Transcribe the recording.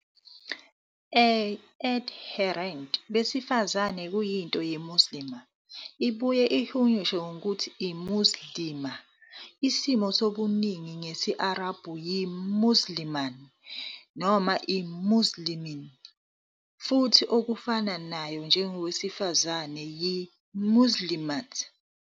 A adherent besifazane kuyinto "muslima", ibuye ihunyushwe ngokuthi "Muslimah",. Isimo sobuningi ngesi-Arabhu yi- "muslimūn" noma "muslimīn", futhi okufana nayo njengowesifazane yi- "muslimāt".